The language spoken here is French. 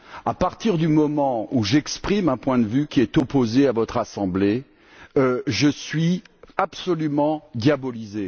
À partir du moment où j'exprime un point de vue qui est opposé à votre assemblée, je suis absolument diabolisé.